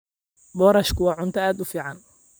Boorashku waa cunto aad u fiican.